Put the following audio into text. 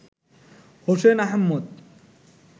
Hossain Ahmed